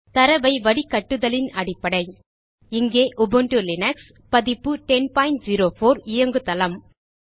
தரவை வடிகட்டுதலின் அடிப்படை இங்கே உபுன்டு லீனக்ஸ் பதிப்பு 1004 ஐ இயங்குதளம்